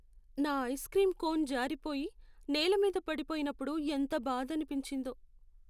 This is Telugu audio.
నా ఐస్ క్రీం కోన్ జారిపోయి, నేల మీద పడిపోయినప్పుడు ఎంత బాధనిపించిందో.